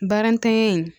Barantanya in